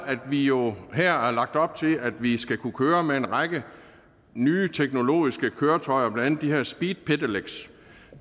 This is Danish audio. at vi jo her har lagt op til at vi skal kunne køre med en række nye teknologiske køretøjer blandt andet de her speed pedelecs